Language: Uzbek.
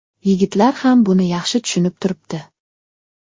Yigitlar ham buni yaxshi tushunib turibdi.